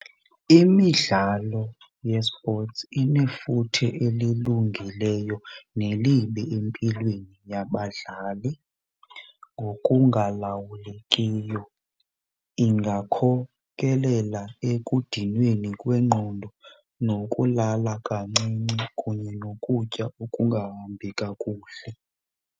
Imidlalo ye-sports inefuthe elilungileyo nelibi empilweni yabadlali ngokungalawulekiyo. Ingakhokelela ekudinweni kwengqondo nokulala kancinci kunye nokutya okungahambi kakuhle.